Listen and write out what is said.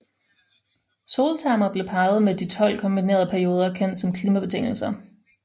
Soltermer blev parret med de 12 kombinerede perioder kendt som klimabetingelser